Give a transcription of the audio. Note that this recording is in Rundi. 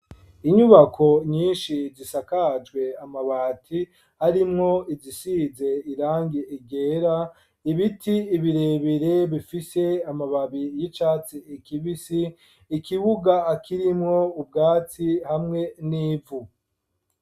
Inyubako nyinshi zisakajwe amabati arimwo izisize irangi ryera ibiti ibirebere bifise amababi y'icatsi kibisi ikibuga akirimwo ubwatsi hamwe n'ivu.